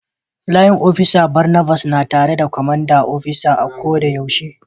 playin opisa Barnabas na tare da Commanding opisa a ko da yaushe.